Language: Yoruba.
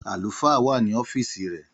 Àlùfáà wá ní ọfisi rẹ